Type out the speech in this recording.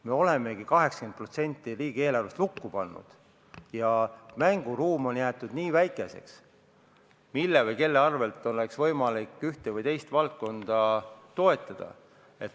Me oleme 80% riigieelarvest lukku pannud ja nii väikeseks on jäetud see mänguruum, mille või kelle arvel oleks võimalik ühte või teist valdkonda toetada.